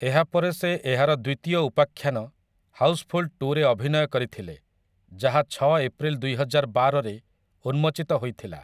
ଏହାପରେ ସେ ଏହାର ଦ୍ୱିତୀୟ ଉପାଖ୍ୟାନ 'ହାଉସ୍‌ଫୁଲ୍ ଟୁ'ରେ ଅଭିନୟ କରିଥିଲେ, ଯାହା ଛଅ ଏପ୍ରିଲ ଦୁଇହଜାରବାରରେ ଉନ୍ମୋଚିତ ହୋଇଥିଲା ।